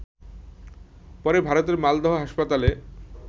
পরে ভারতের মালদহ হাসপাতালে